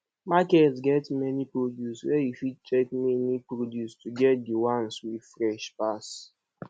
market get many produce where you fit check many produce to get de one wey fresh pass